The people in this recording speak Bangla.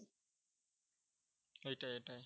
এটাই এটাই।